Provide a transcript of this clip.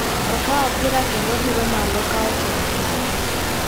Okawo pira kendo odiromalo ka ochomo pap.